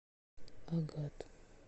агат